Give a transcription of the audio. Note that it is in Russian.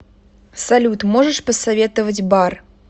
салют можешь посоветовать бар